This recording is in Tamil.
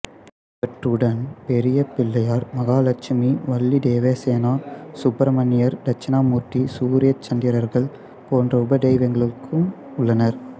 இவற்றுடன் பெரிய பிள்ளையார் மகாலட்சுமி வள்ளி தேவசேனா சுப்பிரமணியர் தட்சிணாமூர்த்தி சூரிய சந்திரர்கள் போன்ற உப தெய்வங்களுக்கும் உள்ளனர்